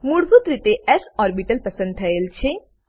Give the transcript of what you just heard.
મૂળભૂત રીતે S orbital પસંદ થયેલ છે